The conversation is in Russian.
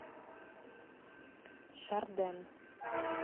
шарден